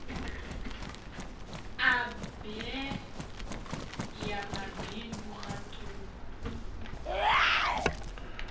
a bee ya mabindu matuku